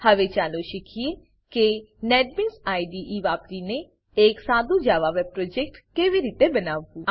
હવે ચાલો શીખીએ કે નેટબીન્સ આઇડીઇ નેટબીન્સ આઈડીઈ વાપરીને એક સાદુ Java web project Java web project કેવી રીતે બનાવવું